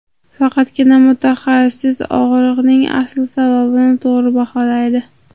Faqatgina mutaxassis og‘riqning asl sababini to‘g‘ri baholaydi.